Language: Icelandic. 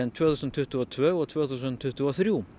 tvö þúsund tuttugu og tvö og tvö þúsund tuttugu og þrjú